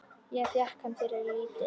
Og fékkst hana fyrir lítið!